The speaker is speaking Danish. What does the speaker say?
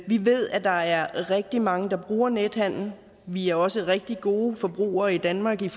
vi ved at der er rigtig mange der bruger nethandel vi er også rigtig gode forbrugere i danmark til